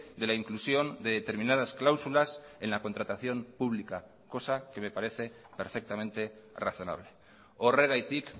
de la inclusión de determinadas cláusulas en la contratación pública cosa que me parece perfectamente razonable horregatik